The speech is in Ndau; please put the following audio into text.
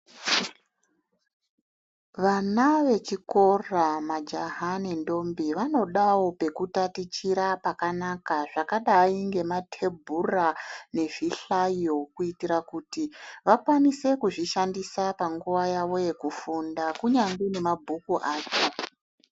Vana vechikora majaha nentombi vanodawo pekutatichira pakanaka zvakadayi ngematebhura, nezvihlayo kuyitira kuti vakwanise kuzvishandisa panguva yavo yekufunda kunyangwe nemabhuku acho.